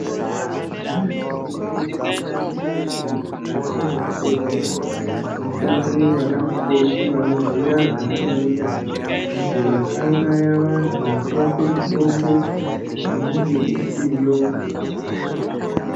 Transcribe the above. Zvemene-mene tinotarisa kuti mukati mwezvibhedhleya mishande vana mukoti vanoziya zvavanoita, kuti vasauraya vantu nekuvape mitombo inenge isiyo.